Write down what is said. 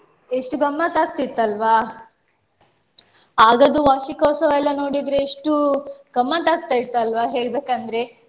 ಎಷ್ಟು ಗಮ್ಮತ್ತಾಕ್ತಿತ್ತಲ್ವಾ. ಆಗದ್ದು ವಾರ್ಷಿಕೋತ್ಸವ ಎಲ್ಲ ನೋಡಿದ್ರೆ ಎಷ್ಟು ಗಮ್ಮತ್ತಾಕ್ತ ಇತ್ತಲ್ವ ಹೇಳ್ಬೇಕಂದ್ರೆ.